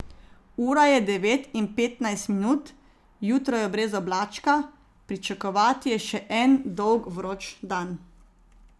Ura je devet in petnajst minut, jutro je brez oblačka, pričakovati je še en dolg vroč dan.